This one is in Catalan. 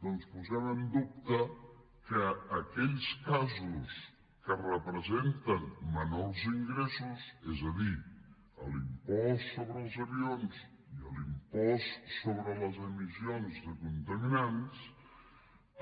doncs posem en dubte que aquells casos que representen menors ingressos és a dir l’impost sobre els avions i l’impost sobre les emissions de contaminants